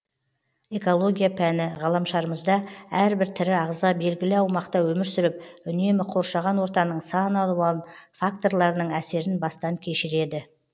экология пәні ғаламшарымызда әрбір тірі ағза белгілі аумақта өмір сүріп үнемі коршаған ортаның сан алуан факторларының әсерін бастан кешіреді